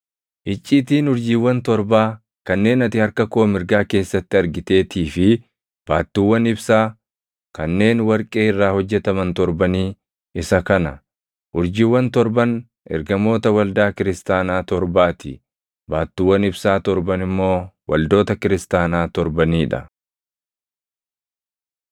Icciitiin urjiiwwan torbaa kanneen ati harka koo mirgaa keessatti argiteetii fi baattuuwwan ibsaa kanneen warqee irraa hojjetaman torbanii isa kana: Urjiiwwan torban ergamoota waldaa kiristaanaa torbaa ti; baattuuwwan ibsaa torban immoo waldoota kiristaanaa torbanii dha.